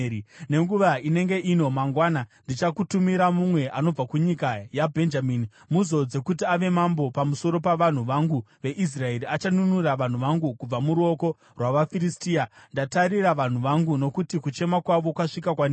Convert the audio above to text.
“Nenguva inenge ino mangwana ndichakutumira mumwe anobva kunyika yaBhenjamini. Muzodze kuti ave mambo pamusoro pavanhu vangu veIsraeri; achanunura vanhu vangu kubva muruoko rwavaFiristia. Ndatarira vanhu vangu, nokuti kuchema kwavo kwasvika kwandiri.”